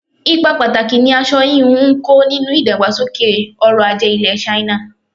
Ipa pàtàkì ni aṣọ hínú ń kó nínú ìdàgbàsókè ọrọl-ajé ilẹ̀ China.